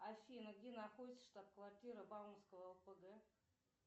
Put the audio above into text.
афина где находится штаб квартира бауманского опг